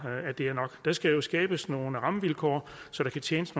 er nok der skal jo skabes nogle rammevilkår så der kan tjenes